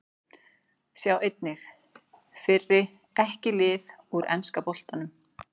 Sjá einnig: Fyrri EKKI lið úr enska boltanum